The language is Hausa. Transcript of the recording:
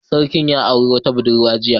Sarkin ya auri wata budurwa jiya